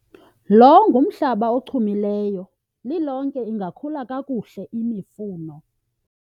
lo ngumhlaba ochumileyo, lilonke ingakhula kakuhle imifuno